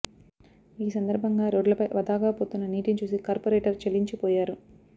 ఈ సందర్భంగా రోడ్లపై వథాగా పోతున్న నీటిని చూసి కార్పొరేటర్ చలించిపోయారు